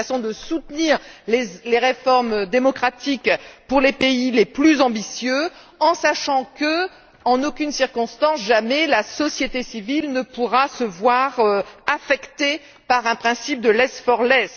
C'est une façon de soutenir les réformes démocratiques pour les pays les plus ambitieux, en sachant que, en aucune circonstance, la société civile ne pourra se voir affectée par un principe de less for less.